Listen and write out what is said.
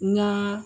N ŋaa